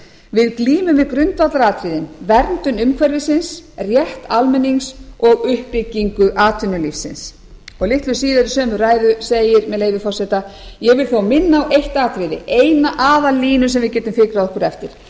við glímum við grundvallaratriðin verndun umhverfisins rétt almennings og uppbyggingu atvinnulífsins litlu síðar í sömu ræðu segir með leyfi forseta ég vil þó minna á eitt atriði eina aðallínu sem við getum fikrað okkur eftir